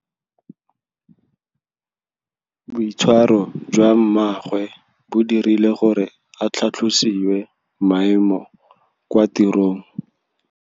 Boitshwarô jwa mmagwe bo dirile gore a tlhatlosiwe maêmo kwa tirông.